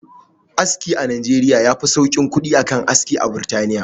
Aski a nijeriya yafi sauƙin kuɗi a kan aski a burtaniya